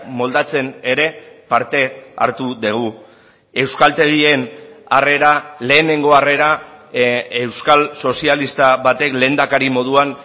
moldatzen ere parte hartu dugu euskaltegien harrera lehenengo harrera euskal sozialista batek lehendakari moduan